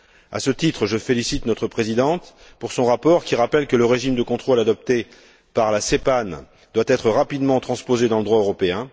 À ce titre, je félicite notre présidente pour son rapport qui rappelle que le régime de contrôle adopté par la CPANE doit être rapidement transposé dans le droit européen